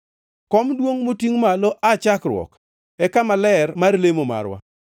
Kom duongʼ, motingʼ malo aa chakruok, e kama ler mar lemo marwa.